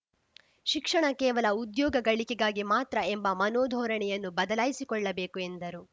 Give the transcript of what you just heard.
ಶಿಕ್ಷಣ ಕೇವಲ ಉದ್ಯೋಗ ಗಳಿಕೆಗಾಗಿ ಮಾತ್ರ ಎಂಬ ಮನೋಧೋರಣೆಯನ್ನು ಬದಲಾಯಿಸಿಕೊಳ್ಳಬೇಕು ಎಂದರು